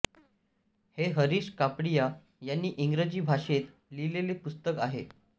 हे हरिश कापडिया यांनी इंग्रजी भाषेत लिहिलेले पुस्तक आहे